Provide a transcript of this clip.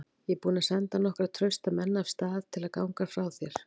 Ég er búinn að senda nokkra trausta menn af stað til að ganga frá þér.